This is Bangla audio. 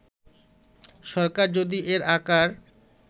সরকার যদি এর আকার